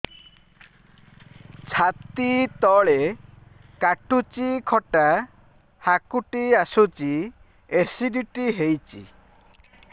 ଛାତି ତଳେ କାଟୁଚି ଖଟା ହାକୁଟି ଆସୁଚି ଏସିଡିଟି ହେଇଚି